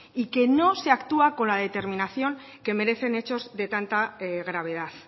y que no se actúa con la determinación que merecen hechos de tanta gravedad